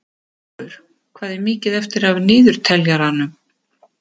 Álfur, hvað er mikið eftir af niðurteljaranum?